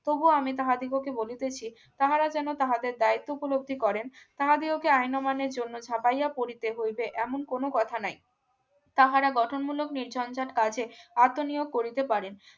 তবুও আমি তাহাদিগকে বলিতেছি তাহারা যেন তাহাদের দায়িত্ব উপলব্ধি করেন তাহারি ওকে আইন অমান্যের জন্য ঝাঁপাইয়া পড়িতে হইবে এমন কোন কথা নাই তাহারা বটনমূলক নির্ঝঞ্ঝাট কাজে আত্মনিয়োগ করিতে পারেন